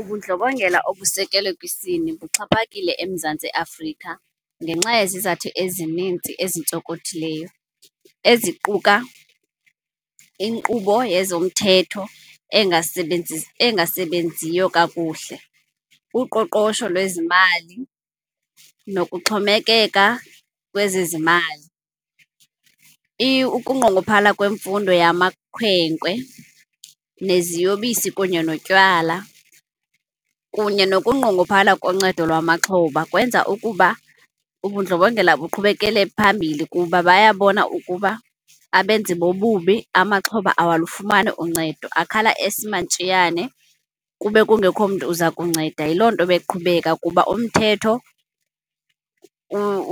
Ubundlobongela obusekelwe kwisini buxhaphakile eMzantsi Afrika ngenxa yezizathu ezininzi ezintsonkothileyo eziquka inkqubo yezomthetho engasasebenziyo kakuhle, uqoqosho lwezimali nokuxhomekeka kwezezimali. Ukunqongophala kwemfundo yamakhwenkwe neziyobisi kunye notywala, kunye nokunqongophala koncedo lwamaxhoba. Kwenza ukuba ubundlobongela buqhubekele phambili kuba baya bona ukuba abenzi bobubi, amaxhoba awalufumani uncedo akhala esimantshiyane kube kungekho mntu uza kunceda. Yiloo nto beqhubeka kuba umthetho